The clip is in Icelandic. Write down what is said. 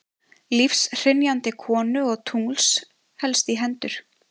Lífshrynjandi konu og tungls helst í hendur.